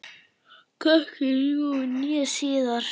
Hvorki nú né síðar.